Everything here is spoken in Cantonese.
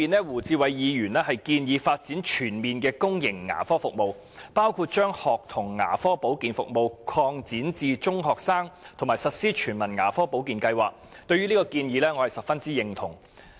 胡志偉議員在原議案中建議發展全面的公營牙科服務，包括把學童牙科保健服務擴展至中學生，以及實施全民牙科保健計劃，我十分認同這些建議。